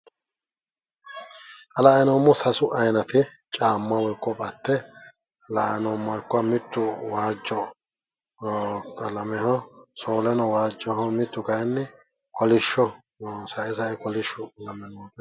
xa la"ayi noommohu sasu aayinate caammu woyi koate la"ayi noommo. mittu waajjo qalameho. soolenowaajoho. mittu kaayiinni